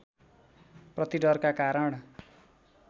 प्रति डरका कारण